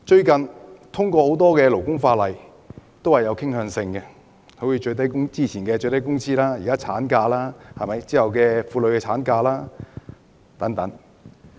近日通過的多項勞工法例均有傾向性，例如有關最低工資的法例和現時的侍產假法案。